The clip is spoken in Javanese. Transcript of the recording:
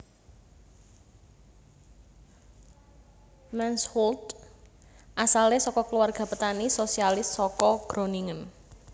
Mansholt asale saka keluarga petani sosialis saka Groningen